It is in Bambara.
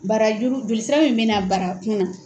Barakun jolisira min bɛ na barakun na.